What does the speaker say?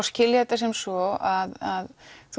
skilja þetta sem svo að